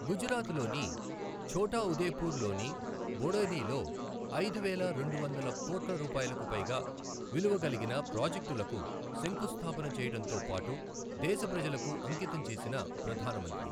గుజరాత్ లోని ఛోటాఉదేపుర్ లోని బోడెలీ లో ఐదువేల రెండు వందల కోట్ల రూపాయలకు పైగా విలువకలిగిన ప్రాజెక్టులకు శంకుస్థాపన చేయడంతో పాటు దేశ ప్రజలకు అంకితం చేసిన ప్రధాన మంత్రి